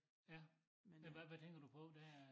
Ja men hvad hvad tænker du på det er